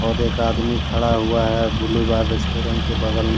और एक आदमी खड़ा हुआ है ब्लू बार रेस्टोरेंट के बगल--